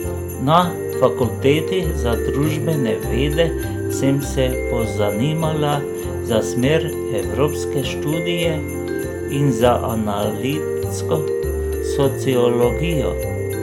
Na fakulteti za družbene vede sem se pozanimala za smer evropske študije in za analitsko sociologijo.